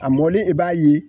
A mɔlen i b'a ye